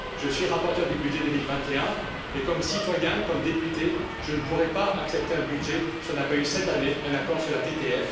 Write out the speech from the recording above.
Je suis rapporteur du budget 2021 et, comme citoyen, comme député, je ne pourrai pas accepter un budget si on n'a pas eu cette année un accord sur la TTF.